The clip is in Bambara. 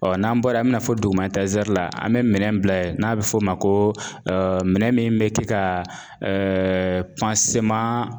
Ɔ n'an bɔra yen an bɛna fɔ dugu ma la an bɛ minɛn bila n'a bɛ fɔ o ma ko minɛn min bɛ kɛ ka ɛɛ